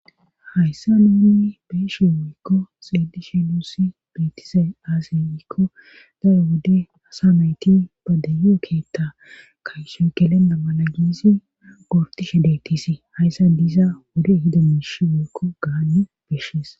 Hayssa nuunui beeshe woyykko xeedishi duussi beettise aase ykko da'e wode asa mayti ba dayo keetta kaysoy gelenna mala giisi gortishe deetisi hayssa diza wode hida miish woykko gaanne beshshies.